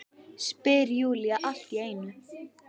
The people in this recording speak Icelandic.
spyr Júlía allt í einu.